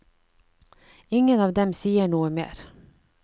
Ingen av dem sier noe mer.